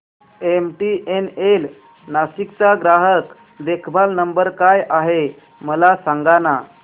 MTNL Nashik चा ग्राहक देखभाल नंबर काय आहे मला सांगाना